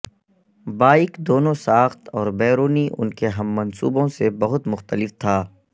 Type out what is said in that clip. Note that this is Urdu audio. بائیک دونوں ساخت اور بیرونی ان کے ہم منصبوں سے بہت مختلف تھا